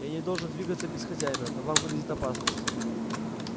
я не должен двигаться без хозяина но вам грозит опасность